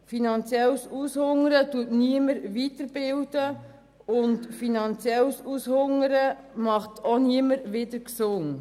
Finanzielles Aushungern bildet niemanden weiter und finanzielles Aushungern macht auch niemanden wieder gesund.